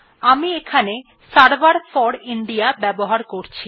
আমি এখানে server for India ব্যবহার করছি